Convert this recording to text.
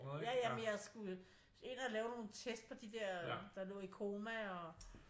Ja ja men jeg skulle ind og lave nogle test på de dér der lå i koma og